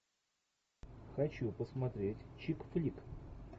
хочу посмотреть чик флик